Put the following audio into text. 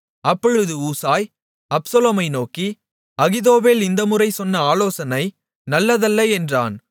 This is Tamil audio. அப்பொழுது ஊசாய் அப்சலோமை நோக்கி அகித்தோப்பேல் இந்தமுறை சொன்ன ஆலோசனை நல்லதல்ல என்றான்